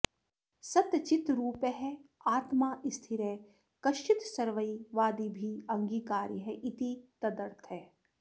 सच्चिद्रूपः आत्मा स्थिरः कश्चित् सर्वैः वादिभिः अङ्गीकार्यः इति तदर्थः